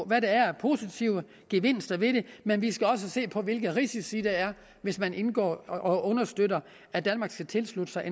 hvad der er af positive gevinster ved det men vi skal også se på hvilke risici der er hvis man indgår i og understøtter at danmark skal tilslutte sig